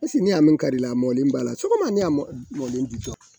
sɔgɔma